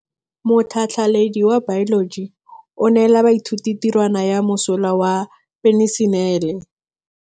Motlhatlhaledi wa baeloji o neela baithuti tirwana ya mosola wa peniselene.